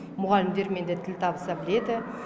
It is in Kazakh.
мұғалімдермен де тіл табыса біледі